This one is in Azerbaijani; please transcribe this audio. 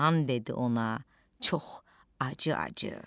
İlan dedi ona çox acı-acı: